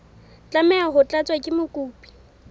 tlameha ho tlatswa ke mokopi